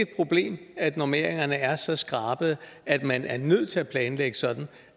problem at normeringerne er så skrabede at man er nødt til at planlægge sådan